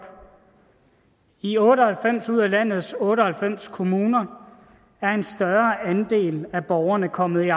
i otte og halvfems ud af landets otte og halvfems kommuner er en større andel af borgerne kommet i